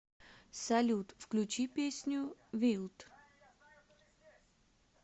салют включи песню вилд